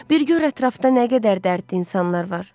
Bir gör ətrafda nə qədər dərddi insanlar var.